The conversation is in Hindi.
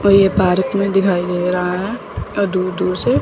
और ये भारत में दिखाई दे रहा है और दूर दूर से--